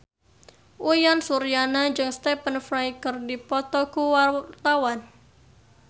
Uyan Suryana jeung Stephen Fry keur dipoto ku wartawan